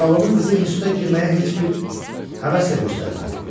Zalımın qızı instituta girməyə heç bir həvəs də göstərmədi.